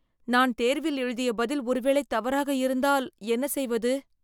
நான் தேர்வில் எழுதிய பதில் ஒரு வேளை தவறாக இருந்தால் என்ன செய்வது